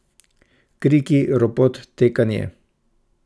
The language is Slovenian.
Kriki, ropot, tekanje.